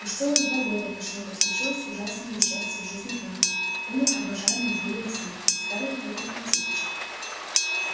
уже целых два года прошло как случилось ужасное несчастье в жизни травки умер обожаемый ею лесник старый охотник антипыч